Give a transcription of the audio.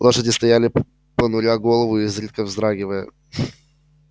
лошади стояли понуря голову и изредка вздрагивая